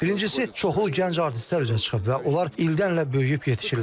Birincisi, çoxlu gənc artistlər üzə çıxıb və onlar ildən-ilə böyüyüb yetişirlər.